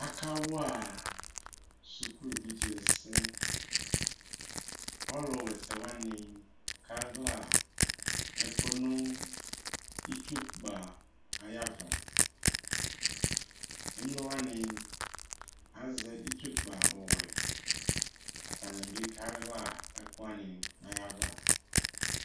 Akawa suku vidzeni ɛsɛ ɔlu wa ɛsɛwani kaɣla ɛku nu itsukpa ayava emlo wani azɛ itsu kpa ɔwɛ atani bi kaɣla ɛkuwani nayava